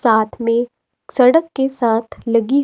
साथ में सड़क के साथ लगी--